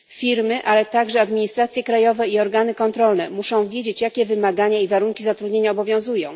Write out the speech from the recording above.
Firmy, ale także administracje krajowe i organy kontrolne muszą wiedzieć, jakie wymagania i warunki zatrudnienia obowiązują.